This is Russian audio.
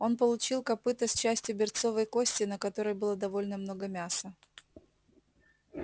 он получил копыто с частью берцовой кости на которой было довольно много мяса